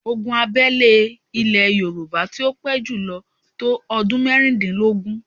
Ogun abẹ́lé ilè Yorùbá tí ó pé jùlọ tó ọdún mẹ́rìndínlógún.